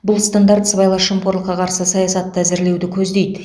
бұл стандарт сыбайлас жемқорлыққа қарсы саясатты әзірлеуді көздейді